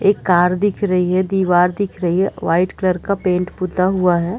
एक कार दिख रही है दिवार दिख रही है वाइट कलर का पेंट पुता हुआ है।